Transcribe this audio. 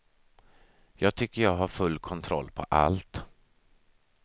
Jag tycker jag har full kontroll på allt.